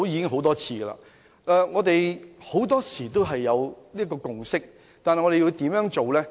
很多時候，我們已取得共識，但應如何落實呢？